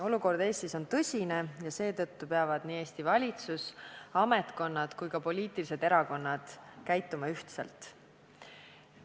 Olukord Eestis on tõsine ja seetõttu peavad nii Eesti valitsus, ametkonnad kui ka erakonnad käituma ühtselt.